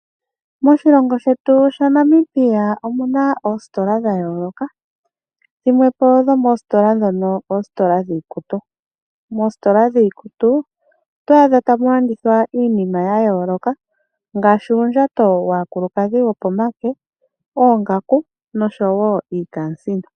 Moshilongo shetu shaNamibia omu na oositola dha yooloka. Dhimwe po dhomoositola ndhono oositola dhiikutu. Moositola dhiikutu, oto adha tamu landithwa iinima ya yooloka ngaashi uundjato waakulukadhi wopomake, oongaku noshowo iikaasino.